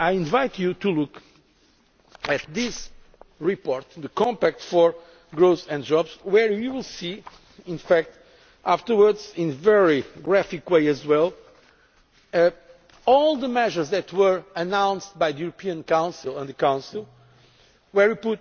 I invite you to look at this report on the Compact for Growth and Jobs where you will see afterwards, in a very graphic way as well, all the measures that were announced by the European Council and the Council where